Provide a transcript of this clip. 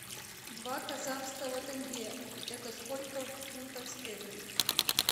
два казахского тенге это сколько в фунтах стерлингов